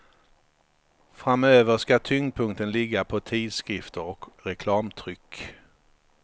Framöver ska tyngdpunkten ligga på tidskrifter och reklamtryck.